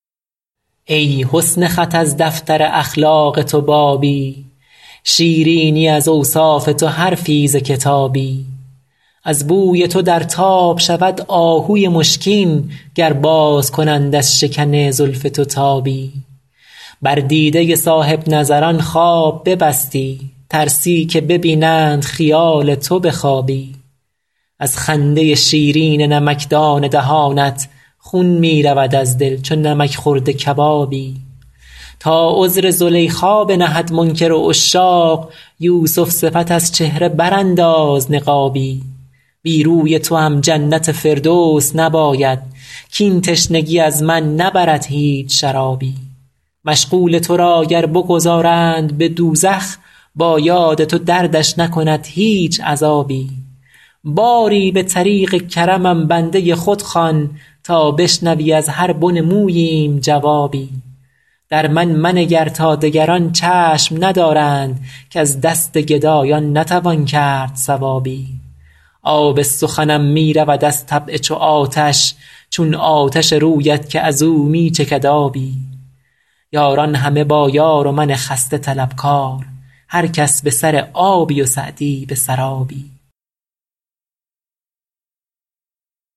ای حسن خط از دفتر اخلاق تو بابی شیرینی از اوصاف تو حرفی ز کتابی از بوی تو در تاب شود آهوی مشکین گر باز کنند از شکن زلف تو تابی بر دیده صاحب نظران خواب ببستی ترسی که ببینند خیال تو به خوابی از خنده شیرین نمکدان دهانت خون می رود از دل چو نمک خورده کبابی تا عذر زلیخا بنهد منکر عشاق یوسف صفت از چهره برانداز نقابی بی روی توام جنت فردوس نباید کاین تشنگی از من نبرد هیچ شرابی مشغول تو را گر بگذارند به دوزخ با یاد تو دردش نکند هیچ عذابی باری به طریق کرمم بنده خود خوان تا بشنوی از هر بن موییم جوابی در من منگر تا دگران چشم ندارند کز دست گدایان نتوان کرد ثوابی آب سخنم می رود از طبع چو آتش چون آتش رویت که از او می چکد آبی یاران همه با یار و من خسته طلبکار هر کس به سر آبی و سعدی به سرابی